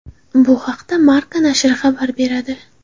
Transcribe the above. Bu haqda Marca nashri xabar beradi.